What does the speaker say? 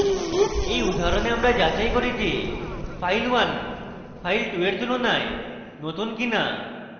in উদাহরণে আমরা যাচাই করি যে file1 file2 in তুলনায় নতুন কিনা